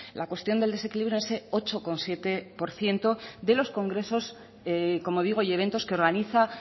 la cuestión del desequilibrio ese ocho coma siete por ciento de los congresos como digo y eventos que organiza